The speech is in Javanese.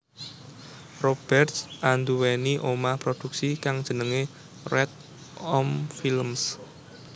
Roberts anduwweni omah produksi kang jennengé Red Om Films